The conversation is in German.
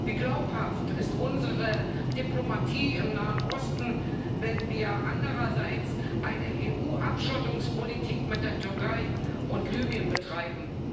Wie glaubhaft ist unsere Diplomatie im Nahen Osten, wenn wir andererseits eine EU Abschottungspolitik mit der Türkei und Libyen betreiben?